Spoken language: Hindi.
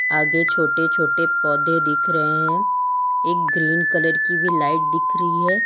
आगे छोटे छोटे पौधे दिख रहे हैं एक ग्रीन कलर की भी लाइट दिख रही है।